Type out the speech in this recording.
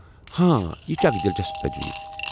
ہوں، یہ چھےٚ اکھ دلچسپ تجویٖز۔